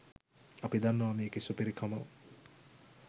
අපි දන්නව මේකෙ සුපිරි කම